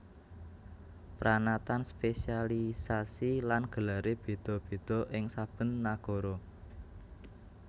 Pranatan spesialiasi lan gelaré béda béda ing saben nagara